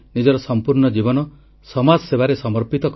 • new ଇଣ୍ଡିଆର ନିର୍ମାଣରେ ଗାଁ ପିଲାଙ୍କ ଭୂମିକା ଗୁରୁତ୍ୱପୂର୍ଣ୍ଣ